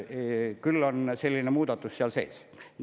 Küll on selline muudatus seal sees.